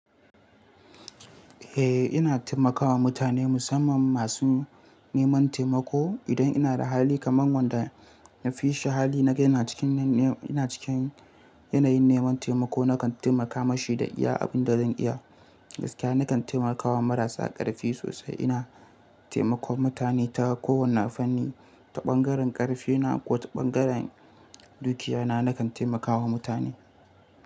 Eh ina taimakawa mutane musamman masu neman taimako. Idan ina da hali kamar wanda na fi shi hali naga yana cikin, yana cikin yanayin neman taimako nakan taimaka mashi da iya abin da zan iya. Gaskiya nakan taimakawa marasa ƙarfi sosai. Ina taimakon mutane ta kowane fanni, ta ɓangaren ƙarfi na ko ta ɓangaren dukiya na nakan taimakawa mutane.